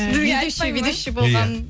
ведущий ведущий болғанмын